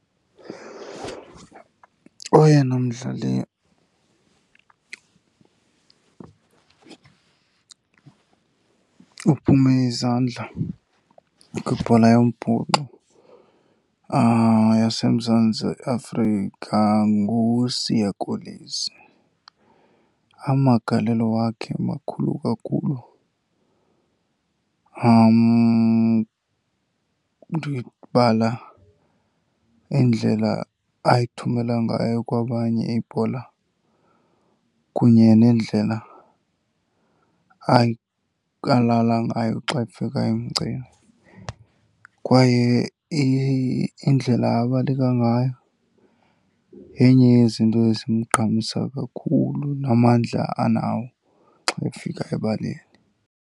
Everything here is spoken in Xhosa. Oyena mdlali uphume izandla kwibhola yombhoxo yaseMzantsi Afrika nguSiya Kolisi. Amagalelo wakhe makhulu kakhulu. Ndibala indlela ayithumela ngayo kwabanye ibhola kunye nendlela alala ngayo xa efika emgceni, kwaye indlela abaleka ngayo yenye yezinto ezimgqamisa kakhulu namandla anawo xa efika ebaleni.